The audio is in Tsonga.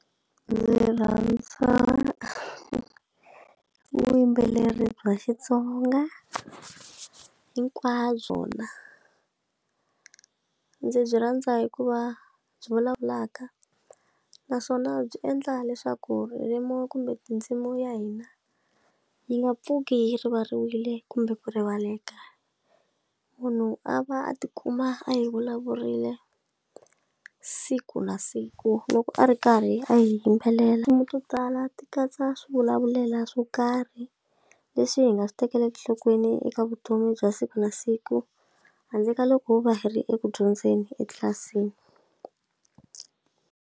Ndzi rhandza vuyimbeleri bya Xitsonga hinkwabyo na ndzi byi rhandza hikuva byi vulavulaka naswona byi endla leswaku ririmi kumbe tindzimu ya hina yi nga pfuki hi rivarile kumbe ku rivaleki munhu a va a tikuma a yi vulavurile siku na siku loko a ri karhi a yimbelela tinsimu to tala ti katsa swi vulavulela swo karhi leswi hi nga swi tekeli enhlokweni eka vutomi bya siku na siku handle ka loko va hi ri eku dyondzeni etlilasini.